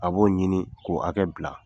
A b'o ɲini k'o hakɛ bila